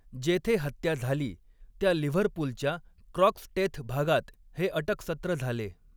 जेथे हत्या झाली त्या लिव्हरपूलच्या क्रॉक्सटेथ भागात हे अटकसत्र झाले.